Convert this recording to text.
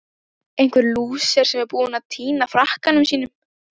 Einhver lúser sem er búinn að týna frakkanum sínum!